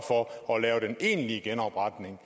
for at lave den egentlige genopretning